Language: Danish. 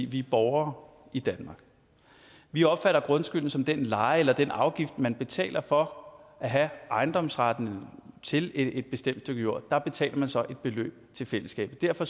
vi er borgere i danmark vi opfatter grundskylden som den leje eller den afgift man betaler for at have ejendomsretten til et bestemt stykke jord der betaler man så et beløb til fællesskabet derfor